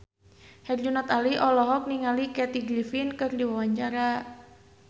Herjunot Ali olohok ningali Kathy Griffin keur diwawancara